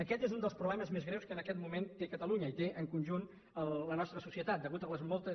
aquest és un dels problemes més greus que en aquest moment té catalunya i que té en conjunt la nostra societat a causa de les moltes